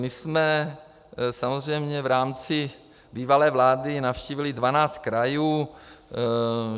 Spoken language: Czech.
My jsme samozřejmě v rámci bývalé vlády navštívili 12 krajů.